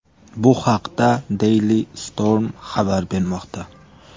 Bu haqda Daily Storm xabar bermoqda .